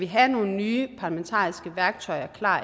have nogen nye parlamentariske værktøjer klar